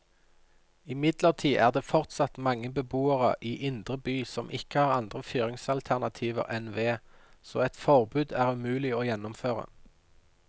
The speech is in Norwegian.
Imidlertid er det fortsatt mange beboere i indre by som ikke har andre fyringsalternativer enn ved, så et forbud er umulig å gjennomføre.